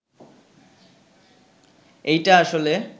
এইটা আসলে